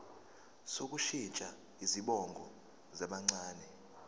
sokushintsha izibongo zabancane